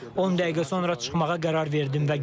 10 dəqiqə sonra çıxmağa qərar verdim.